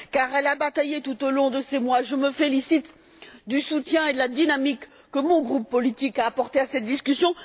Elle a bataillé tout au long de ces mois et je me félicite du soutien et de la dynamique que mon groupe politique a apportés à cette discussion.